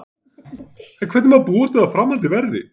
En hvernig má búast við að framhaldið verði?